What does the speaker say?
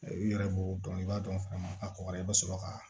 I yɛrɛ b'o dɔn i b'a dɔn fɛn min ka kɔgɔra i bɛ sɔrɔ ka